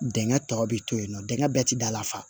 Dingɛ tɔ bɛ to yen nɔ dengɛ bɛɛ tɛ da la fa